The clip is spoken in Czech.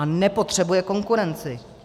A nepotřebuje konkurenci.